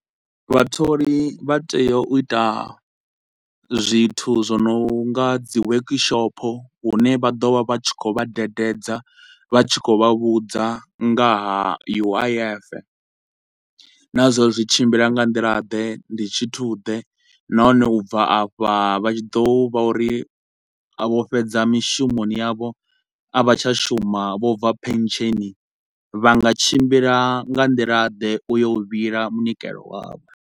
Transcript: Vhatholi vha tea u ita zwithu zwo no nga dzi workshop hune vha ḓo vha vha tshi khou vha dededza, vha tshi khou vha vhudza nga ha U_I_F. Na zwa uri zwi tshimbila nga nḓila ḓe, ndi tshithu ḓe, nahone u bva afha vha tshi ḓo vha uri vho fhedza mishumoni yavho a vha tsha shuma vho bva pension vha nga tshimbila nga nḓila ḓe u yo vhila munikelo wavho.